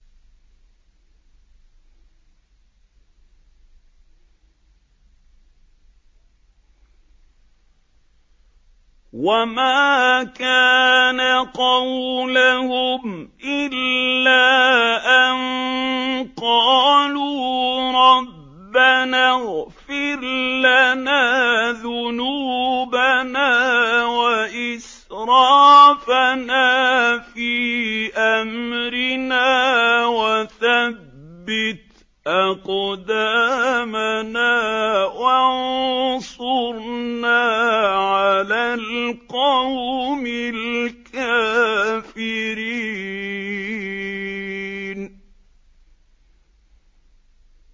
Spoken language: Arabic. وَمَا كَانَ قَوْلَهُمْ إِلَّا أَن قَالُوا رَبَّنَا اغْفِرْ لَنَا ذُنُوبَنَا وَإِسْرَافَنَا فِي أَمْرِنَا وَثَبِّتْ أَقْدَامَنَا وَانصُرْنَا عَلَى الْقَوْمِ الْكَافِرِينَ